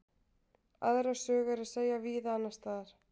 Aðra sögu er að segja víða annars staðar.